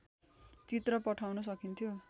चित्र पठाउन सकिन्थ्यो